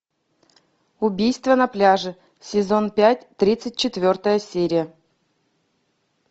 убийство на пляже сезон пять тридцать четвертая серия